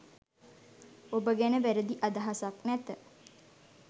ඔබ ගැන වැරදි අදහසක් නැත